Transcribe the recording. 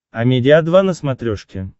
амедиа два на смотрешке